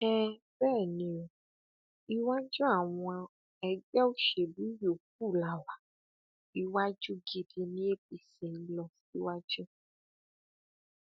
um bẹẹ ni o iwájú àwọn ẹgbẹ òṣèlú yòókù la wá iwájú gidi ní apc lọ um síwájú